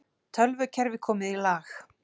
Tölvukerfi komið í lag